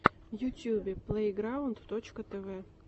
в ютьюбе плейграунд точка тв